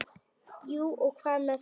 Jú og hvað með það!